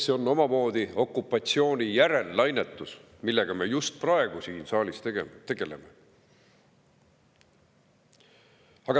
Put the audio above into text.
See on omamoodi okupatsiooni järellainetus, millega me just praegu siin saalis tegeleme.